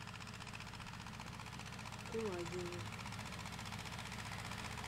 кулагине